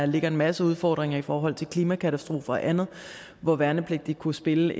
ligger en masse udfordringer i forhold til klimakatastrofer og andet hvor værnepligtige kunne spille